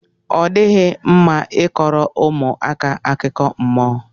odighi mma i koro ụmụaka akụkọ mmụọ.